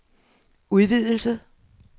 udvidelse